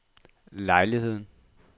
lejligheden